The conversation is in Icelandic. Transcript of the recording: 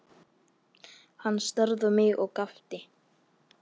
Hann starði á mig og gapti.